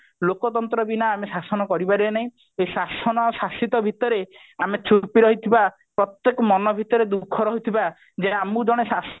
ଲୋକତନ୍ତ୍ର ବିନା ଆମେ ଶଶନ କରି ପାରିବ ନାହିଁ ଏଇ ଶାସନ ଶାସିତ ଭିତରେ ଆମେ ଛୁପି ରହିଥିବା ପ୍ରତ୍ଯେକ ମନ ଭିତରେ ଦୁଃଖ ରହିଥିବା ଯେ ଆମକୁ ଜଣେ ଶାସନ